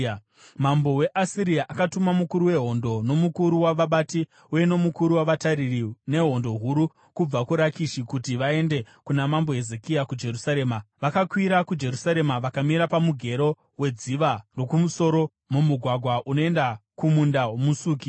Mambo weAsiria akatuma mukuru wehondo, nomukuru wavabati uye nomukuru wavatariri, nehondo huru, kubva kuRakishi kuti vaende kuna mambo Hezekia kuJerusarema. Vakakwira kuJerusarema vakamira pamugero weDziva roKumusoro, mumugwagwa unoenda kuMunda woMusuki.